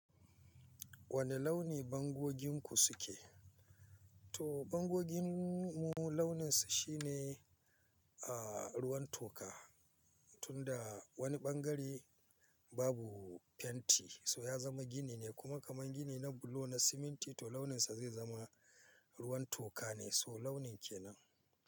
Wane launi bangoginku suke? To bangogin mu launin sa shine, a ruwan toka, tunda wani ɓangare babu fenti so ya zama gini ne kuma kaman gini na bulo na siminti to launin sa zai zama ruwan toka ne so launin kenan.